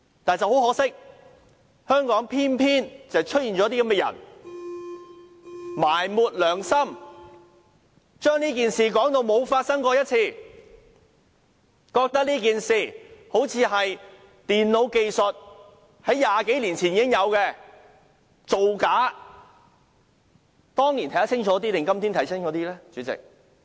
但是，很可惜，香港偏偏出現這些埋沒良心的人，將這件事說成沒有發生過，把這件事說成好像是以電腦技術在20多年前已經製造出來的，是造假。